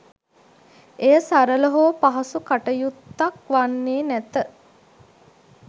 එය සරළ හෝ පහසු කටයුත්තක් වන්නේ නැත.